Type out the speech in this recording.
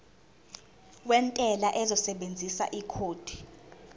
wentela uzosebenzisa ikhodi